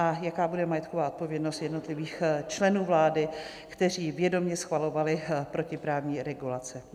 A jaká bude majetková odpovědnost jednotlivých členů vlády, kteří vědomě schvalovali protiprávní regulace?